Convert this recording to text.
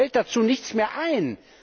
Mir fällt dazu nichts mehr ein!